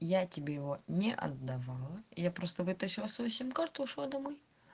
я тебе его не отдавала я просто вытащила свою сим карту ушла домой